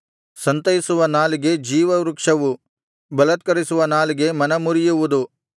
ಸಂತೈಸುವ ನಾಲಿಗೆ ಜೀವವೃಕ್ಷವು ಬಲತ್ಕರಿಸುವ ನಾಲಿಗೆ ಮನಮುರಿಯುವುದು